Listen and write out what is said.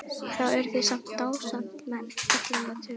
Þá eru þið samt dándismenn allir með tölu!